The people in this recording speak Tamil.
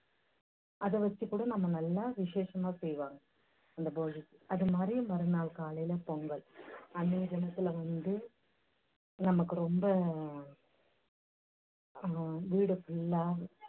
அதை வெச்சுக் கூட நம்ம நல்லா விஷேஷமா செய்வாங்க அந்த போகிக்கு. அது மாதிரி மறு நாள் காலையில பொங்கல் அன்னைய தினத்துல வந்து நமக்கு ரொம்ப வீடு full லா